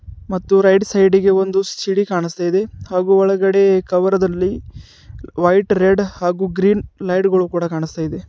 ಮತ್ತು right side ಗೆ ಒಂದು ಸಿಡಿ ಕಾಣಸ್ತಾಇದೆ ಹಾಗು ಒಳಗಡೆ ಕವರ ದಲ್ಲಿ ವೈಟ್ ರೆಡ್ ಹಾಗು ಗ್ರೀನ್ ಲೈಟ್ ಗಳು ಕೂಡ ಕಾಣಸ್ತಾಇದೆ.